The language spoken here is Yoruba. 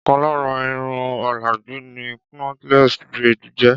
Ọ̀kan lára Irun òlàjú ni knotless braids jẹ́.